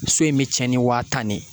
So in bɛ cɛn ni waa tan ne ye